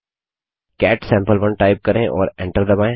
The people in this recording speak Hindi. कैट सम्पे1 टाइप करें और एंटर दबायें